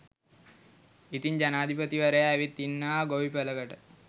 ඉතින් ජනපති වරයා ඇවිත් ඉන්නවා ගොවි පලකට